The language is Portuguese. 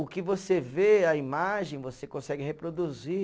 O que você vê, a imagem, você consegue reproduzir.